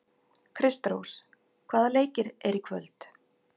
Kristrós, hvaða leikir eru í kvöld?